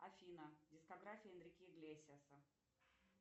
афина дискография энрике иглесиаса